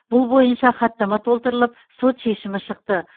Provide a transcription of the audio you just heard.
бұл бойынша хаттама толтырылып сот шешімі шықты